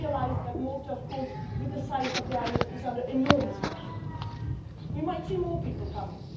to Malta. I realise that Malta, of course, with the size of the island, is under enormous pressure. We might see more people